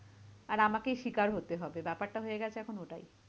আর আমাকেই শিকার হতে হবে ব্যাপারটা হয়ে গেছে এখন ওটাই।